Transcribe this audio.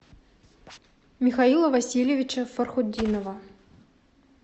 михаила васильевича фархутдинова